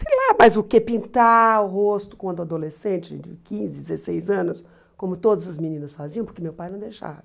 Sei lá, mas o que pintar o rosto quando adolescente, de quinze, dezesseis anos, como todas as meninas faziam, porque meu pai não deixava.